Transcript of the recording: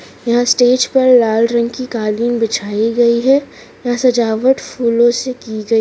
यहां स्टेज पर लाल रंग की कालीन बिछाई गई है यहां सजावट फूलो से की गई --